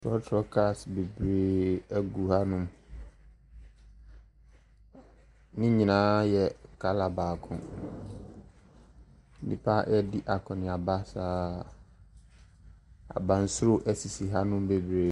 Trɔtrɔ cars bebree gu hanom, ne nyinaa yɛ colour baako. Nnipa ɛredi akɔneaba saa. Abansoro sisi hanom bebree.